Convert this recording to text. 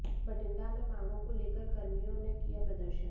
बठिंडा में मांगों को लेकर कर्मियों ने किया प्रदर्शन